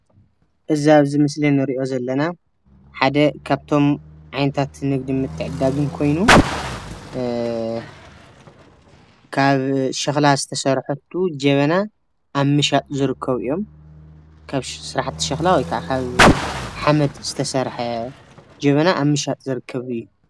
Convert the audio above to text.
እዚ ኣብዚ ምስሊ እንሪኦ ዘለና ሓደ ካብቶም ዓይነታት ንግድን ምትዕድዳግን ኮይኑ አ ካብ ሸኽላ ዝተሰርሑቱ ጀበና ኣብ ምሻጥ ዝርከቡ እዮም። ካብ ስራሕቲ ሸኽላ ወይ ክዓ ካብ ሓመድ ዝተሰርሐ ጀበና ኣብ ምሻጥ ዝረከብ እዩ።